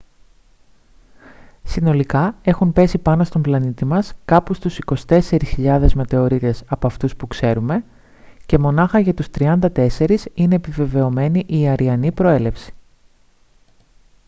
συνολικά έχουν πέσει πάνω στον πλανήτη μας κάπου στους 24.000 μετεωρίτες από αυτούς που ξέρουμε και μονάχα για τους 34 είναι επιβεβαιωμένη η αρειανή προέλευση